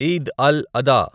ఈద్ అల్ అదా